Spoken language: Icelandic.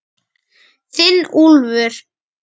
Þinn Úlfur.